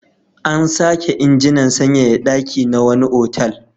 An sake injinan sanyaya ɗaki na wani otal.